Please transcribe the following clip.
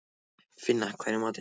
Finna, hvað er í matinn?